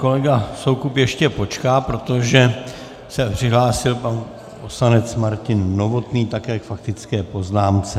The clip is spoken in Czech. Kolega Soukup ještě počká, protože se přihlásil pan poslanec Martin Novotný, také k faktické poznámce.